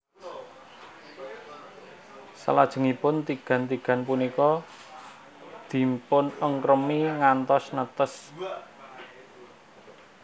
Salajengipun tigan tigan punika dipunengkremi ngantos netes